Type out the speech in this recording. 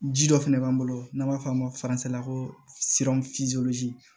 Ji dɔ fɛnɛ b'an bolo n'an b'a f'a ma la ko